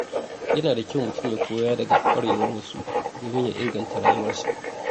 Yana da kyau mutum ya koya daga kwarewar wasu domin ya inganta rayuwarsa.